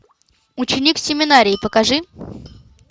ученик семинарии покажи